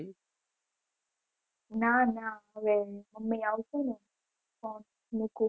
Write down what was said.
ના ના હવે અમે આવસો ને તો મુકું